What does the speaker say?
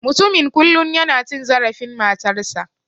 Mutumin kullum yana cin zarafin matarsa.